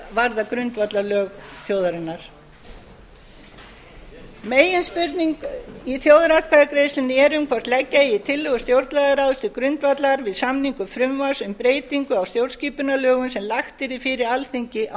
varða grundvallarlög þjóðarinnar meginspurning í þjóðaratkvæðagreiðslunni eru m hvort leggja eigi tillögur stjórnlagaráðs til grundvallar við samningu frumvarps um breytingu á stjórnskipunarlögum sem lagt yrði fyrir alþingi á